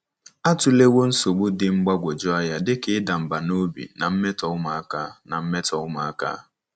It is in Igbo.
Atụlewo nsogbu dị mgbagwoju anya dị ka ịda mbà n’obi na mmetọ ụmụaka. na mmetọ ụmụaka.